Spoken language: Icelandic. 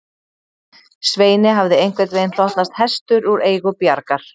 Sveini hafði einhvern veginn hlotnast hestur úr eigu Bjargar